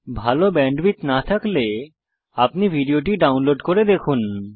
ভাল ব্যান্ডউইডথ না থাকলে আপনি ভিডিওটি ডাউনলোড করে দেখুন